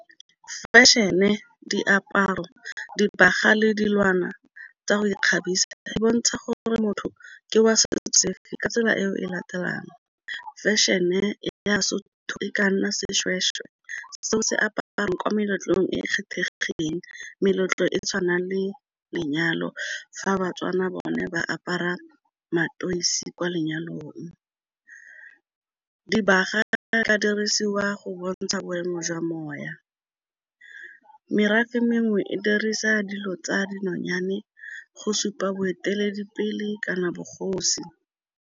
Fashion-e, diaparo, dibaga le dilwana tsa go ikgabisa di bontsha gore gore motho ke wa setso sefe ka tsela e o e latelang fashion-e ya Sotho e ka nna seshweshwe seo se aparwa ko meletlong e e kgethegileng meletlo e tshwanang le lenyalo, fa baTswana bone ba apara mateisi kwa lenyalong, dibaga ka dirisiwa go bontsha boemo jwa . Merafe e mengwe e dirisa dilo tsa dinonyane go supa boeteledipele kana bogosi